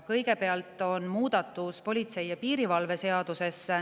Kõigepealt on muudatus politsei ja piirivalve seaduses.